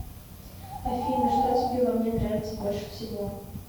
афина что тебе во мне нравится больше всего